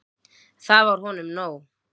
Það var honum nóg.